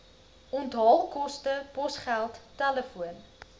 onthaalkoste posgeld telefoon